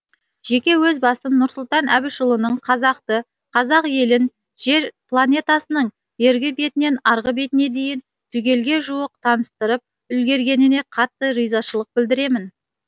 жеке өз басым нұрсұлтан әбішұлының қазақты қазақ елін жер планетасының бергі бетінен арғы бетіне дейін түгелге жуық таныстырып үлгергеніне қатты ризашылық білдіремін